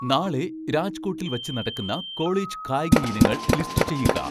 നാളെ രാജ്കോട്ടിൽ വച്ച് നടക്കുന്ന കോളേജ് കായികയിനങ്ങൾ ലിസ്റ്റ് ചെയ്യുക